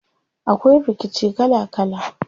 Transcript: Akwai rikici kala kala.